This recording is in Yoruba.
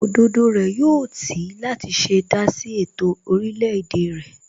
Òdodo rẹ̀ yóò tì í láti ṣe dásí ètò orílẹ̀ èdè rẹ̀